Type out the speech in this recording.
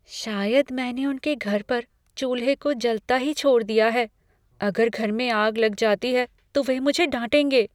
शायद मैंने उनके घर पर चूल्हे को जलता ही छोड़ दिया है। अगर घर में आग लग जाती है तो वे मुझे डांटेंगे।